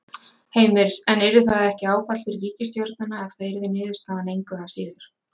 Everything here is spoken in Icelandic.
Heimir: En yrði það ekki áfall fyrir ríkisstjórnina ef það yrði niðurstaðan engu að síður?